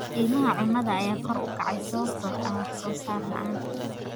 Qiimaha cunnada ayaa kor u kacay sababtoo ah wax soo saar la'aan.